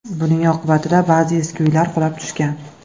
Buning oqibatida ba’zi eski uylar qulab tushgan .